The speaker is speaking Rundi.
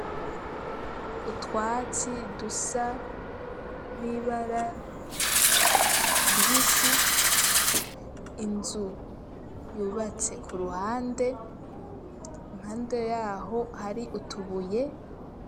Utwatsi, dusa n'ibara ribisi, inzu yubatse ku ruhande, impande y'aho, hari utubuye.